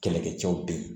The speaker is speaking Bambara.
Kɛlɛkɛcɛw be yen